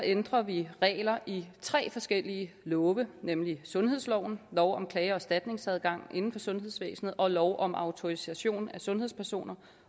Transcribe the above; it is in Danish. ændrer vi regler i tre forskellige love nemlig sundhedsloven lov om klage og erstatningsadgang inden for sundhedsvæsenet og lov om autorisation af sundhedspersoner